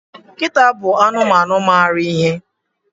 Nkịta bụ anụmanụ mara ihe.